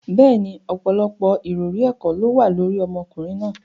Bẹ́ẹ̀ni, ọ̀pọ̀lọpọ̀ ìròrí ẹ̀kọ́ ló wà lórí ọmọkùnrin náà.